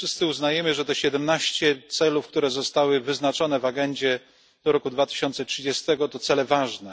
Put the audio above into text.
Wszyscy uznajemy, że te 17 celów, które zostały wyznaczone w agendzie do roku 2030, to cele ważne.